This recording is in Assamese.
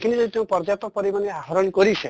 খিনি যদি পৰ্যাপ্ত পৰিমানে আহৰণ কৰিছে